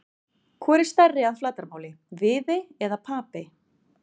Hvor er stærri að flatarmáli, Viðey eða Papey?